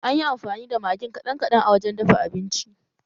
Anyi amfani da magin kaɗan kaɗan a lokacin dafa abincin